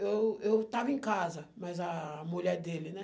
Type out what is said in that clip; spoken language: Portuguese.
Eu eu estava em casa, mas a mulher dele, né?